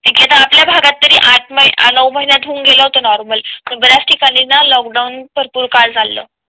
ठीके आता आपल्या भागात तरी आठ न नऊ महिन्या होऊन गेलो होतो. नॉर्मल पण बऱ्याच ठिकाणी ना लोकडाऊन भरपूर काळ चाल चाललं